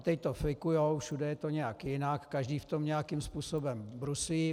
A teď to flikují, všude je to nějak jinak, každý v tom nějakým způsobem bruslí.